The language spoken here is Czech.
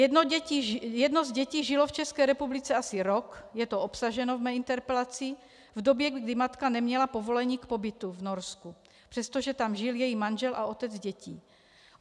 Jedno z dětí žilo v České republice asi rok, je to obsaženo v mé interpelaci, v době, kdy matka neměla povolení k pobytu v Norsku, přestože tam žil její manžel a otec dětí.